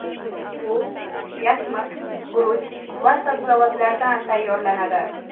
U yasmiq, guruch va sabzavotlardan tayyorlanadi.